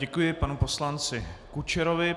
Děkuji panu poslanci Kučerovi.